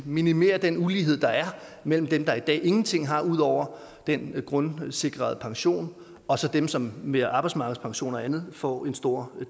minimere den ulighed der er mellem dem der i dag ingenting har ud over den grundsikrede pension og så dem som via arbejdsmarkedspensioner og andet får en stor